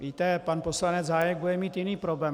Víte, pan poslanec Hájek bude mít jiný problém.